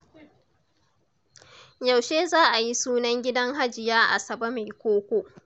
Yaushe za a yi sunan gidan Hajiya Asabe mai koko?